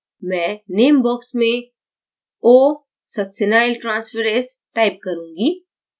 मैं name box में osuccinyltransferase type करूंगी